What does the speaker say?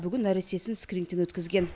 бүгін нәрестесін скринингтен өткізген